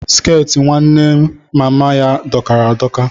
Skẹti nwanne mama ya dokara adoka.